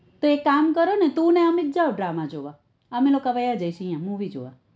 તો એક કામ કરો ને તું અને અમિત જાઓ drama જોવા અમે લોકો વહ્યા જઈએ સુ અહિયા movie જોવા